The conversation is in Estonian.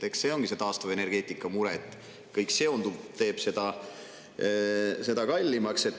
Eks see olegi see taastuvenergeetika mure, et kõik sellega seonduv teeb seda kallimaks.